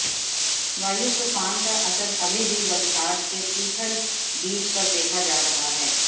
वायु तूफान का असर अभी भी वलसाड के तीथल बीच पर देखा जा रहा है